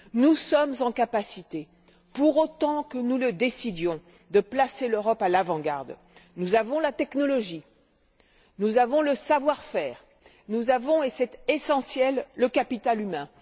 Nous avons la capacité, pour autant que nous le décidions, de placer l'Europe à l'avant garde. Nous avons la technologie, nous avons le savoir faire, nous avons et c'est essentiel le capital humain.